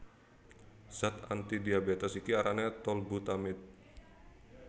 Zat antidiabetes iki arané tolbutamide